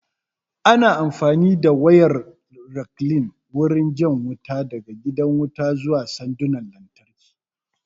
Ana amfani da wayar rekline wurin jan wuta daga gidan wuta zuwa sandunan lantarki